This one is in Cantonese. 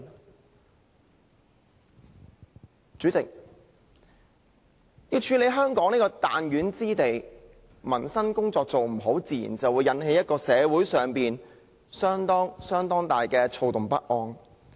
代理主席，要管治香港這個彈丸之地，民生工作做得不好，自然會引起社會相當大的躁動不安。